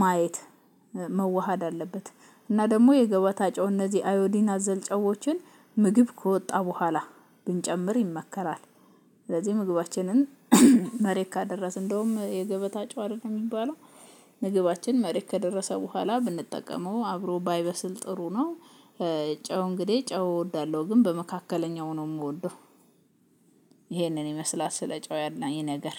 ማየት መዋሃድ አለበት። እና ደግሞ የገበታ ጨው እነዚህ አዮዲና አዘል ጨዎችን ምግብ ከወጣ በኋላ ብንጨምር ይመከራል። ስለዚህ ምግባችንን መሬት ካደረስን እንደውም የገበታ ጨው አይደል የሚባለው ምግባችን መሬት ከደረሰ በኋላ ብንጠቀመው አብሮ ባይበስል ጥሩ ነው። ጨው እንግዲህ ጨው እወዳለሁ ግን በመካከለኛው ነው የምወደው። ይሄንን ይመስላት ስለ ጨው ያለኝ ነገር።